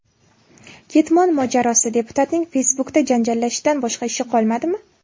Ketmon mojarosi: Deputatning Facebook’da janjallashishdan boshqa ishi qolmadimi?.